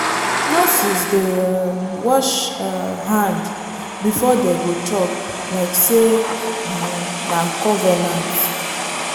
nurses dey um wash um hand before dey go chop like say um na convenant